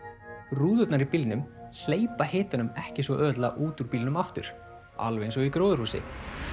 rúðurnar í bílnum hleypa hitanum ekki svo auðveldlega út úr bílnum aftur alveg eins og í gróðurhúsi